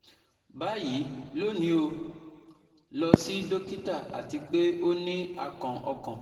Bayi, loni o lọ si dokita ati pe o ni akàn ọkan